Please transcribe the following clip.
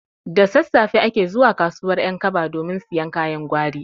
Da sassafe ake zuwa kasuwar ƴankaba domin siyan kayan gwari